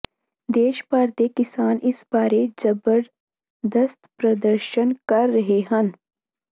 ਦੇਸ਼ ਭਰ ਦੇ ਕਿਸਾਨ ਇਸ ਬਾਰੇ ਜ਼ਬਰਦਸਤ ਪ੍ਰਦਰਸ਼ਨ ਕਰ ਰਹੇ ਹਨ